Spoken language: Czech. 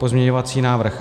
Pozměňující návrh